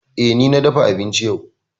Eh, ni na dafa abinci yau.